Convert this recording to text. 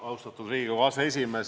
Austatud Riigikogu aseesimees!